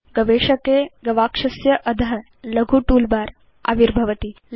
गवेषके गवाक्षस्य अध लघु टूलबार आविर्भवति